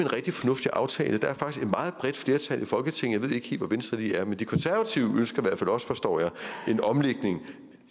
rigtig fornuftig aftale der er faktisk et meget bredt flertal i folketinget helt hvor venstre lige er men de konservative ønsker i hvert fald også forstår jeg en omlægning